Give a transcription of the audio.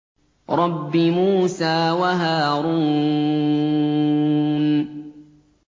رَبِّ مُوسَىٰ وَهَارُونَ